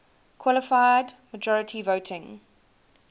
qualified majority voting